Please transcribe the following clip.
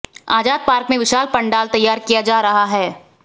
आजाद park में विशाल पांडाल तैयार किया जा रहा है